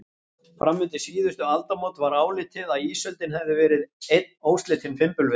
Fram undir síðustu aldamót var álitið að ísöldin hefði verið einn óslitinn fimbulvetur.